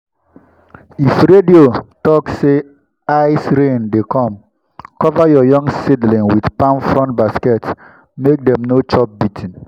if radio talk say ice-rain dey come cover your young seedling with palm frond basket make dem no chop beating.